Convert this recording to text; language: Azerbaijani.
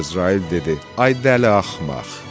Əzrail dedi: Ay dəli axmaq!